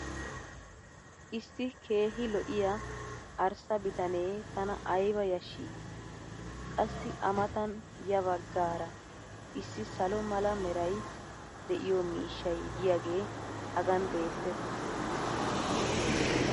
issi keehi lo'iyaa arssa bitanee tana ayba yashii! qassi a matan ya bagaara issi salo mala meray de'iyo miishshay diyaagee hagan beetees.